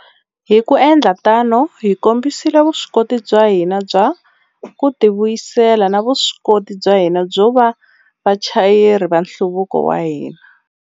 Hi ku endla tano, hi kombisile vuswikoti bya hina bya ku tivuyisela na vuswikoti bya hina byo va vachayeri va nhluvuko wa hina.